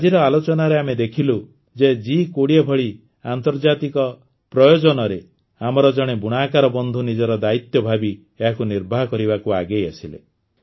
ଆଜିର ଆଲୋଚନାରେ ଆମେ ଦେଖିଲୁ ଯେ ଜି୨୦ ଭଳି ଆନ୍ତର୍ଜାତିକ ପ୍ରୟୋଜନରେ ଆମର ଜଣେ ବୁଣାକାର ବନ୍ଧୁ ନିଜର ଦାୟିତ୍ୱ ଭାବି ଏହାକୁ ନିର୍ବାହ କରିବାକୁ ଆଗେଇ ଆସିଲେ